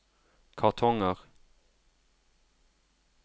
kartonger